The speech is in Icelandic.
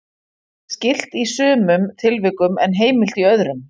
Er það skylt í sumum tilvikum en heimilt í öðrum.